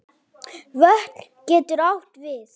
Vötn getur átt við